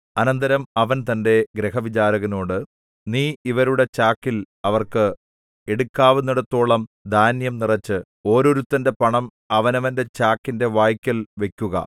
അനന്തരം അവൻ തന്റെ ഗൃഹവിചാരകനോട് നീ ഇവരുടെ ചാക്കിൽ അവർക്ക് എടുക്കാവുന്നിടത്തോളം ധാന്യം നിറച്ച് ഓരോരുത്തന്റെ പണം അവനവന്റെ ചാക്കിന്റെ വായ്ക്കൽ വെക്കുക